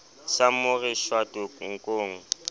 sa mo re shwato nkong